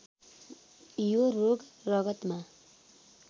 यो रोग रगतमा